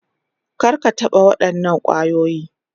Kar ka taɓa waɗannan kwayoyi.